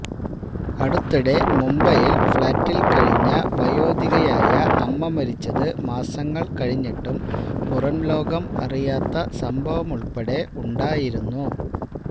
അടുത്തിടെ മുംബൈയിൽ ഫ്ളാറ്റിൽ കഴിഞ്ഞ വയോധികയായ അമ്മ മരിച്ചത് മാസങ്ങൾ കഴിഞ്ഞിട്ടും പുറംലോകം അറിയാത്ത സംഭവമുൾപ്പെടെ ഉണ്ടായിരുന്നു